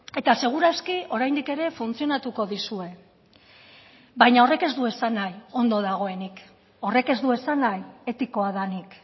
eta segur aski oraindik ere funtzionatuko dizue baina horrek ez du esan nahi ondo dagoenik horrek ez du esan nahi etikoa denik